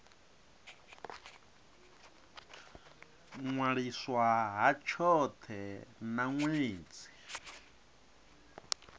ṅwaliswa ha tshothe na ṅwedzi